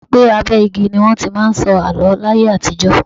Bàbá mi sọ pé abẹ́ igi ni wọn ti máa ń sọ àló láyé àtijọ́.